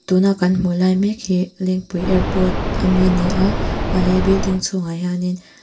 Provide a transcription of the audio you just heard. tuna kan hmuh lai mêk hi lengpui airport ami a ni a a he building chhungah hianin.